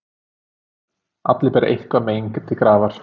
Allir bera eitthvert mein til grafar.